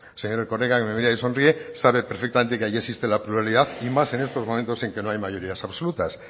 señor erkoreka que me mira y sonríe sabe perfectamente que allí existe la pluralidad y más en estos momentos en que no hay mayorías absolutas